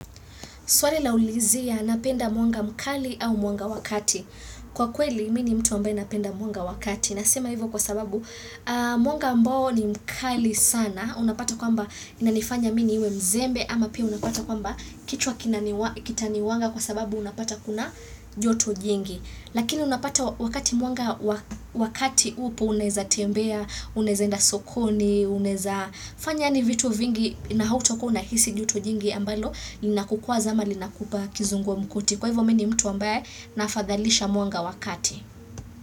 Swali la ulizia napenda mwanga mkali au mwanga wa kati. Kwa kweli, mi ni mtu ambaye napenda mwanga wa kati. Nasema hivyo kwa sababu mwanga ambao ni mkali sana. Unapata kwamba inanifanya mimi niwe mzembe ama pia unapata kwamba kichwa kinani kitaniwanga kwa sababu unapata kuna joto jingi. Lakini unapata wakati mwanga wa kati upo unaeza tembea, unaeza enda sokoni, unaeza fanya yani vitu vingi na hautakuwa unahisi joto jingi ambalo. Na kukuwa zama linakupa kizungu mkuti kwa hivyo mi ni mtu ambaye nafadhalisha mwanga wa kati.